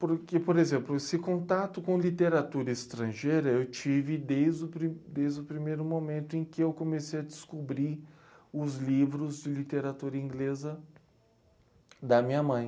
Porque, por exemplo, esse contato com literatura estrangeira eu tive desde o pri, desde o primeiro momento em que eu comecei a descobrir os livros de literatura inglesa da minha mãe.